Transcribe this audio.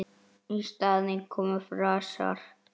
Í staðinn komu frasar.